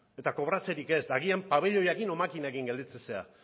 eta kobratzerik ez eta agian pabiloiarekin edo makinekin gelditzen zara